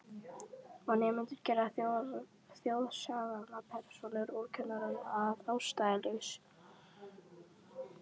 Og nemendur gera þjóðsagnapersónur úr kennurum að ástæðulausu.